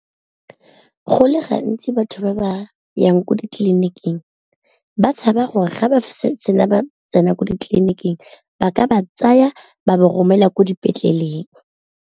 Go le gantsi batho ba ba yang ko ditleliniking ba tshaba gore ga ba sena ba tsena ko ditleliniking ba ka ba tsaya ba ba romela ko dipetleleng.